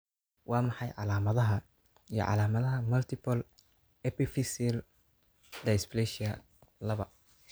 Waa maxay calaamadaha iyo calaamadaha Multiple epiphyseal dysplasia laba?